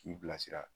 K'i bilasira